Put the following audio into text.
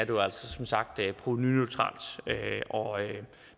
jo altså som sagt provenuneutralt